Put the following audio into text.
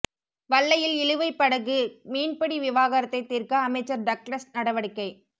வல்லையில் இழுவைப் படகு மீன்பிடி விவகாரத்தை தீர்க்க அமைச்சர் டக்ளஸ் நடவடிக்கை